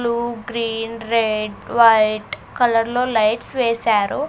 Blue green red white colour లో lights వేసారు.